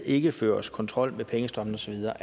ikke føres kontrol med pengestrømmene og så videre